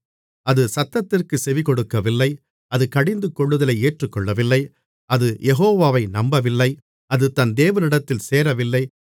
அது சத்தத்திற்குச் செவிகொடுக்கவில்லை அது கடிந்துகொள்ளுதலை ஏற்றுக்கொள்ளவில்லை அது யெகோவாவை நம்பவில்லை அது தன் தேவனிடத்தில் சேரவில்லை